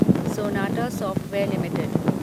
Sonata Software limited